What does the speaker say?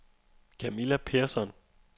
Camilla Persson